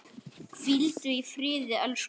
Hvíldu í friði, elsku Ragga.